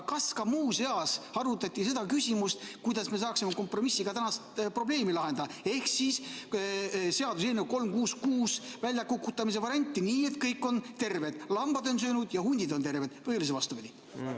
Aga kas arutati ka seda küsimust, kuidas me saaksime kompromissiga tänast probleemi lahendada, ehk seaduseelnõu 366 väljakukutamise varianti, nii et kõik on terved, lambad on söönud ja hundid terved, või oli see vastupidi?